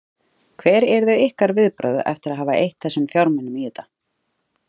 Hver yrðu ykkar viðbrögð eftir að hafa eytt þessum fjármunum í þetta?